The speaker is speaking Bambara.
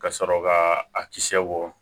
Ka sɔrɔ ka a kisɛ bɔ